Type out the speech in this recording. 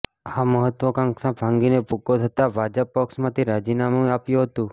આ મહત્વાકાંક્ષા ભાંગીને ભૂક્કો થતા ભાજપ પક્ષમાંથી રાજીનામું આપ્યું હતું